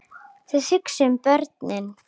Þið hugsið um börnin.